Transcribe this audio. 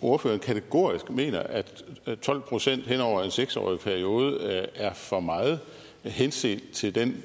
ordføreren kategorisk mener at tolv procent hen over en seks årig periode er for meget henset til den